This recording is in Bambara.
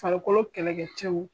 Farikolo kɛlɛkɛcɛw